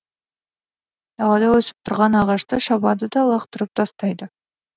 далада өсіп тұрған ағашты шабады да лақтырып тастайды